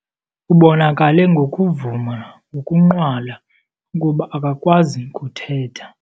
Ubonakale ngokuvuma ngokunqwala ukuba akakwazi kuthetha.